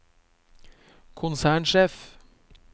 konsernsjef